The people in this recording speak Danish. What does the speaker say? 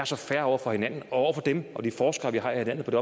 så fair over for hinanden og over for dem og de forskere vi har i landet på det